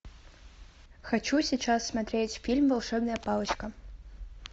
хочу сейчас смотреть фильм волшебная палочка